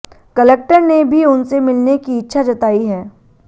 collector ने भी उनसे मिलने की इच्छा जताई है